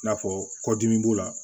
I n'a fɔ kɔdimi b'o la